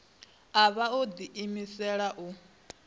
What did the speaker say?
a vha o ḓiimisela u